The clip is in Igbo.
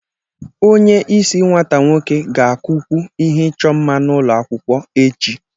Onye isi nwata nwoke ga-akụkwu ihe ịchọ mma n'ụlọ akwụkwọ echi